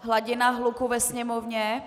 hladina hluku ve sněmovně.